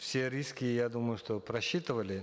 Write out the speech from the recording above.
все риски я думаю что просчитывали